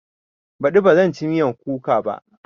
Baɗi ba zan ci miyan kuka ba